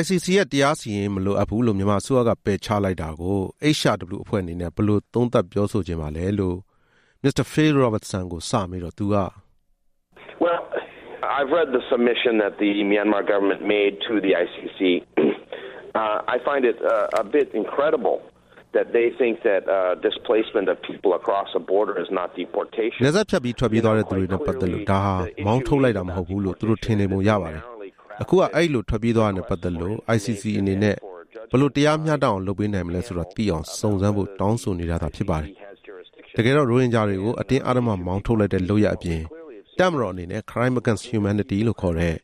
ICC ရဲ့တရားစီရင်ရေးမလိုအပ်ဘူးလို့ မြန်မာအစိုးရကပယ်ချလိုက်တာကို HRW အဖွဲ့အနေနဲ့ ဘယ်လိုသုံးသပ်ပြောဆိုချင်ပါလဲလို့ Mr. Phil Robertson ကိုစမေးတော့သူက နယ်စပ်ဖြတ်ပြီးထွက်ပြေးသွားတဲ့သူတွေနဲ့ ပတ်သက်လို့ ဒါဟာ မောင်းထုတ်လိုက်တာ မဟုတ်ဘူးလို့ သူတို့ထင်နေပုံရတယ်။ အခုက အဲဒီလိုထွက်ပြေးသွားတာနဲ့ပတ်သက်လို့ ICC အနေနဲ့ဘယ်လို တရားမျှတအောင်လုပ်ပေးနိုင်မလဲဆိုတာ သိအောင်စုံစမ်းဖို့ တောင်းဆိုနေတာသာ ဖြစ်တယ်။ တကယ်တော့ ရိုဟင်ဂျာတွေကို အတင်းအဓမ္မမောင်းထုတ်လိုက်တဲ့လုပ်ရပ်အပြင် တပ်မတော်အနေနဲ့ Crime against Humanity ဆိုတဲ့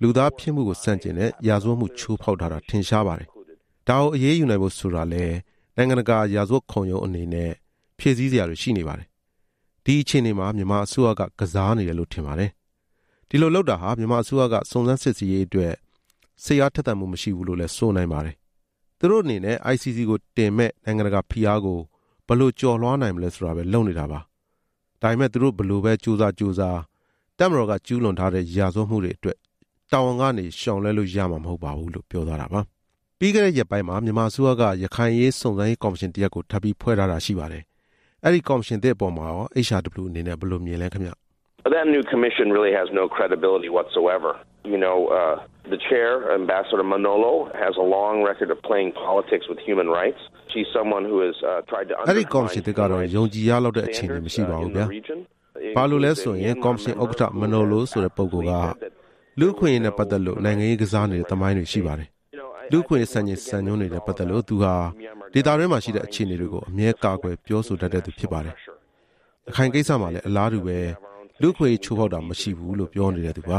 လူသားဖြစ်မှုကိုဆန့်ကျင်တဲ့ရာဇဝတ်မှု ချိုးဖောက်ထားတာထင်ရှားပါတယ်။ ဒါကို အရေးနိုင်ဖို့ဆိုတာလဲ နိုင်ငံတကာရာဇဝတ်ခုံရုံးအနေနဲ့ ဖြည့်ဆည်းစရာတွေရှိနေပါတယ်။ ဒီအခြေအနေမှာ မြန်မာအစိုးရက ကစားနေတယ်လို့ထင်ပါတယ်။ ဒီလိုလုပ်တာဟာ မြန်မာအစိုးရက စုံစမ်းစစ်ဆေးရေးအတွက် စိတ်အားထက်သန်မှုမရှိဘူးလို့လည်း ဆိုနိုင်ပါတယ်။ သူတို့အနေနဲ့ ICC ကိုတင်မယ့် နိုင်ငံတကာဖိအားကို ဘယ်လိုကျော်လွှားနိုင်မလဲ ဆိုတာပဲလုပ်နေတာပါ။ သူတို့ဘယ်လိုပဲ ကြိုးစား ကြိုးစား၊ တပ်မတော်က ကျူးလွန်ထားတဲ့ ရာဇဝတ်မှုတွေအတွက် ရှောင်လွှဲလို့ရမှာ မဟုတ်ပါဘူးလို့ ပြောသွားတာပါ။ ပြီးခဲ့တဲ့ရက်ပိုင်းမှာ မြန်မာအစိုးရက ရခိုင်အရေးစုံစမ်းရေးကော်မရှင်တရပ်ကို ထပ်ပြီးဖွဲ့ထားတာရှိပါတယ်။ အဲဒီကော်မရှင်သစ်အပေါ်မှာရော HRW အနေနဲ့ ဘယ်လိုမြင်လဲခင်ဗျ။ အဲဒီကော်မရှင်သစ်ကတော့ ယုံကြည်ရလောက်တဲ့ အခြေအနေမရှိပါဘူးဗျာ။ ဘာလို့လဲဆိုရင် ကော်မရှင်ဥက္ကဌ မနိုလိုဆိုတဲ့ပုဂ္ဂိုလ်က လူ့အခွင့်အရေးနဲ့ပတ်သက်လို့ နိုင်ငံရေးကစားနေတဲ့သမိုင်းတွေရှိပါတယ်။ လူ့အခွင့်အရေး စံချိန်စံညွှန်းတွေနဲ့ ပတ်သက်လို့ သူဟာ ဒေသတွင်းမှာရှိတဲ့အခြေအနေကို အမြဲကာကွယ်ပြောဆိုတတ်တဲ့သူဖြစ်ပါ တယ်။ ရခိုင်ကိစ္စမှာလဲ လူ့အခွင့်အရေးချိုးဖေါက်တာမရှိဘူးလို့ပြောနေတဲ့သူပါ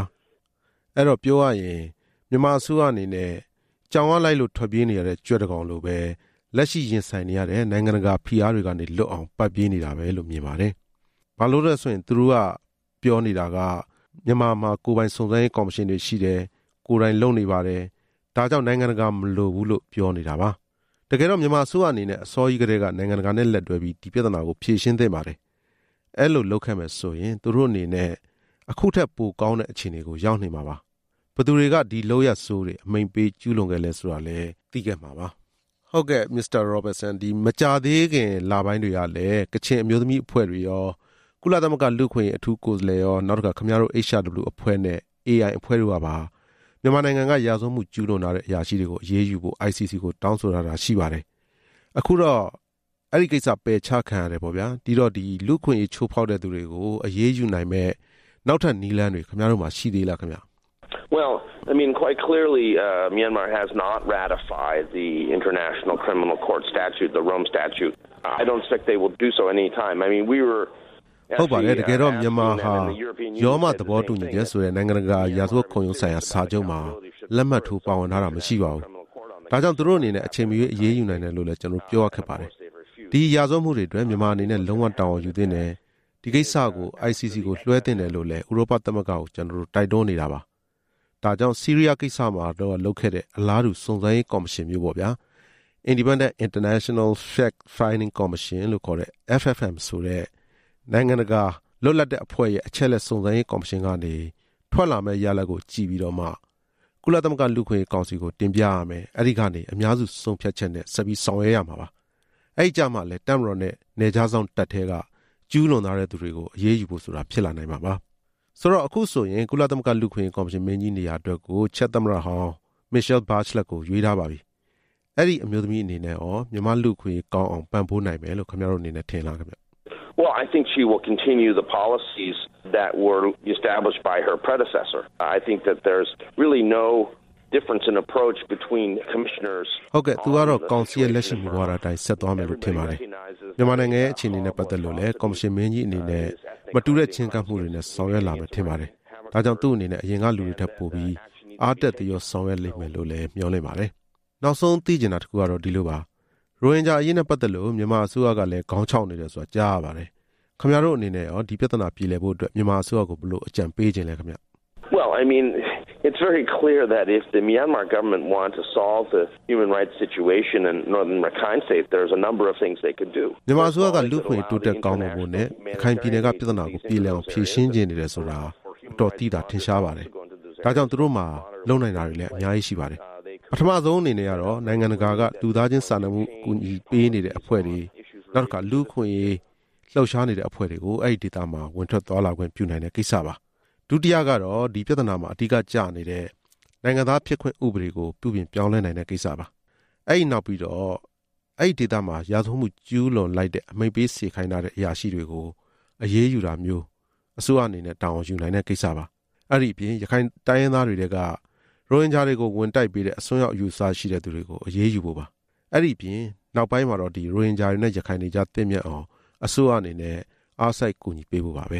။ အဲတော့ ပြောရရင် မြန်မာအစိုးရ အနေနဲ့ ကြောင်ကလိုက်လို့ ထွက်ပြေးနေရတဲ့ ကြွက်လို၊ လက်ရှိရင်ဆိုင်နေရတဲ့ နိုင်ငံတကာဖိအားတွေကနေ လွတ်အောင် ပတ်ပြေးနေတာလို့ပဲမြင်ပါတယ်။ ဘာလို့ဆိုရင် ကျနော်တို့မှာ ကိုယ်ပိုင်စုံစမ်းရေးကော်မရှင်တွေရှိတယ်၊ ကိုယ်တိုင်လုပ်နေပါတယ်။ ဒါကြောင့်နိုင်ငံတကာမလိုဘူးလို့ပြောနေတာပဲ။ တကယ်တော့ မြန်မာအစိုးရအနေနဲ့ အစောကြီးကတည်းက နိုင်ငံတကာနဲ့လက်တွဲပြီး ဒီပြဿနာကိုဖြေရှင်းသင့်ပါတယ်။ အဲလိုလုပ်ခဲ့မယ်ဆိုရင် သူတို့အနေနဲ့ အခုထက်ပိုကောင်းတဲ့အခြေအနေကို ရောက်နေမှာဖြစ်သလို၊ ဘယ်သူတွေက ဒီလုပ်ရပ်ဆိုးတွေ အမိန့်ပေးကျူးလွန်ခဲ့လဲဆိုတာသိခဲ့မှာပါ။ မကြာသေးတဲ့လပိုင်းတွေကလည်း ကချင်အမျိုးသမီးအဖွဲ့တွေရော၊ ကုလသမဂ္ဂ လူ့အခွင့်အရေး အထူး ကိုယ်စားလှယ်ရော၊ ခင်ဗျားတို့ HRW အဖွဲ့နဲ့ AI အဖွဲ့တို့ကပါ မြန်မာနိုင်ငံက ရာဇဝတ်မှု ကျူးလွန်ထားတဲ့အရာရှိတွေ ကို အရေးယူဖို့ ICC ကို တောင်းဆိုထားပါတယ်။ အခုတော့ အဲဒီပယ်ချခံရတယ်။ ဒီတော့ လူ့အခွင့်အရေးချိုးဖောက် တဲ့သူတွေကို အရေးယူနိုင်မယ့် နောက်ထပ်နည်းလမ်းတွေ ခင်ဗျားတို့မှာရှိနေသေးလား။ ဟုတ်ပါတယ်။ တကယ်တော့ မြန်မာဟာ ရောမသဘောတူချက်ဆိုတဲ့ နိုင်ငံတကာရာဇဝတ် ခုံရုံးဆိုင်ရာ စာချုပ်မှာ လက်မှတ်ထိုးပါဝင်ထားတာမရှိပါဘူး။ ဒါကြောင့် သူတို့အနေနဲ့အချိန်မရွေး အရေးယူနိုင်တယ်လို့လည်း ကျနော်တို့ပြောရခက်ပါတယ်။ ဒီရာဇဝတ်မှုတွေအတွက် မြန်မာအနေနဲ့ လုံးဝတာဝန်ယူသင့်တယ်၊ ဒီကိစ္စကို ICC လွှဲသင့်တယ်လို့ ဥရောပသမဂ္ဂကိုလည်း ကျနော်တို့ တိုက်တွန်း နေတာပါပဲ။ ဒါကြောင့် ဆီးရီးယားကိစ္စမှာ လုပ်ခဲ့တဲ့အလားတူစုံစမ်းရေးကော်မရှင်မျိုး၊ Independent international Fact-finding commission- FFM ဆိုတဲ့ လွတ်လပ်တဲ့နိုင်ငံတကာအဖွဲ့ရဲ့ အချက် အလက်စုံစမ်းရေးကော်မရှင်ကနေထွက်လာမယ့် ရလာဒ်ကိုကြည့်ပြီးမှ ကုလသမဂ္ဂလူ့အခွင့် အရေးကောင်စီကိုတင်ပြပြီး၊ အဲဒီကနေ အများစုရဲ့ဆုံးဖြတ်ချက်နဲ့ ဆောင်ရွက်ရမှာပါ။ အဲဒီကျမှ တပ်မတော်နဲ့ နယ်ခြားစောင့်တပ်ထဲက ကျူးလွန်ထားတဲ့သူတွေကို အရေးယူဖို့ဆိုတာဖြစ်လာနိုင်မှာပါ။ အခုဆိုရင် ကုလသမဂ္ဂ လူ့အခွင့်အရေးကော်မရှင်မင်းကြီးနေရာအတွက် ချက်သမ္မတဟောင်း မစ်ရှဲလ်ဘားချလက်ကို ရွေးထားပါပြီ၊ အဲဒီအမျိုးသမီးအနေနဲ့ရော မြန်မာ့လူ့အခွင့်အရေး ကောင်း အောင်ပံ့ပိုးနိုင်မယ်လို့ ခင်ဗျားတို့အနေနဲ့ထင်လား။ ဟုတ်ကဲ့။ သူကတော့ ကောင်စီရဲ့လက်ရှိမူဝါဒအတိုင်း ဆက်သွားမယ်လို့ ထင်ပါတယ်။ မြန်မာနိုင်ငံရဲ့ အခြေအနေနဲ့ ပတ်သက်လို့ ကော်မရှင်မင်းကြီးအနေနဲ့လည်း မတူတဲ့ချဉ်းကပ်မှုတွေနဲ့ ဆောင်ရွက်လာမယ် ထင်ပါတယ်။ ဒါကြောင့် သူ့အနေနဲ့ အရင်ကလူတွေထက်ပိုပြီး အားတက် သရောဆောင်ရွက်လိမ့်မယ်ထင်ပါတယ်။ နောက်ဆုံးသိချင်တာတခုကဒီလိုပါ။ ရိုဟင်ဂျာအရေးနဲ့ပတ်သက်လို့ မြန်မာအစိုးရလည်း ခေါင်းခြောက်နေတယ် ဆိုတာကြားရပါတယ်။ ခင်ဗျားတို့အနေနဲ့ရော ဒီပြသနာပြေလည်ရေးအတွက် ဘယ်လိုအကြံပေးချင်လဲ။ မြန်မာအစိုးရက လူ့အခွင့်အရေး တိုးတက်ကောင်းမွန်ဖို့နဲ့ ရခိုင်ပြည်နယ်က ပြဿနာကိုပြေ လည်အောင် ဖြေရှင်းချင်နေတယ်ဆိုတာ အတော်သိသာထင်ရှားပါတယ်။ ဒါကြောင့်သူတို့မှာ လုပ်နိုင်တာတွေအများကြီးရှိပါတယ်။ ပထမအနေနဲ့ နိုင်ငံတကာက လူသားချင်းစာနာမှုဆိုင်ရာ အကူအညီပေးနေတဲ့အဖွဲ့တွေနဲ့ လူ့အခွင့်အရေး လှုပ်ရှားနေတဲ့အဖွဲ့တွေကို အဲဒီဒေသမှာ ဝင်ထွက်သွားလာခွင့်ပြုနိုင်တဲ့ကိစ္စပါ။ ဒုတိယက ဒီပြဿနာမှာ အဓိက ကျနေတဲ့ နိုင်ငံသားဖြစ်ခွင့်ဥပဒေကို ပြုပြင်ပြောင်းလဲနိုင်တဲ့ကိစ္စပါ။ ပြီးတော့ အဲဒီဒေသမှာ ရာဇဝတ်မှုကျူးလွန်လိုက် တဲ့ အမိန့်ပေးစေခိုင်းတဲ့အရာရှိတွေကို အရေးယူတာမျိုး တာဝန်ယူနိုင်တဲ့ကိစ္စပါ။ အဲဒီအပြင် ရခိုင်တိုင်းရင်းသားတွေ ထဲက ရိုဟင်ဂျာတွေကို ဝင်တိုက်ပေးတဲ့ အစွန်းရောက်အယူအဆရှိတဲ့သူတွေကို အရေးယူဖို့ပါ။ အဲဒီအပြင် ရိုဟင်ဂျာတွေနဲ့ရခိုင်တွေကြား သင့်မြတ်အောင် အစိုးရအနေနဲ့ ဆောင်ရွက်ပေးဖို့ပါပဲ